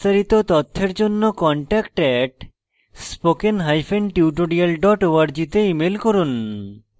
বিস্তারিত তথ্যের জন্য contact @spokentutorial org তে ইমেল করুন